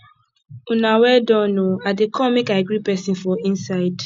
una well done oo i dey come make i greet person for inside